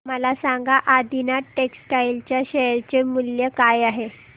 मला सांगा आदिनाथ टेक्स्टटाइल च्या शेअर चे मूल्य काय आहे